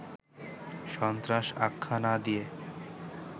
সন্ত্রাস আখ্যা না দিয়ে